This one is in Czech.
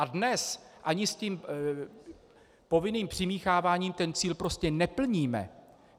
A dnes ani s tím povinným přimícháváním ten cíl prostě neplníme.